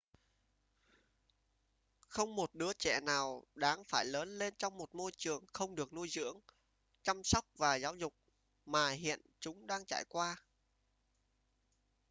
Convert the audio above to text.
không một đứa trẻ nào đáng phải lớn lên trong một môi trường không được nuôi dưỡng chăm sóc và giáo dục mà hiện chúng đang trải qua